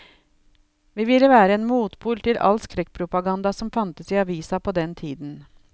Vi ville være en motpol til all skrekkpropaganda som fantes i avisa på den tiden.